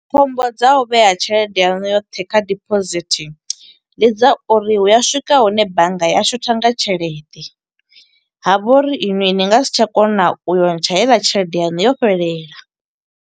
Khombo dza u vhea tshelede yanu yoṱhe kha diphosithi, ndi dza uri hu ya swika hune bannga ya shotha nga tshelede. Ha vha uri iṅwi ni nga si tsha kona u yo ntsha heiḽa tshelede yanu yo fhelela.